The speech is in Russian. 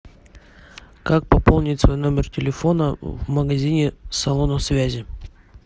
как пополнить свой номер телефона в магазине салона связи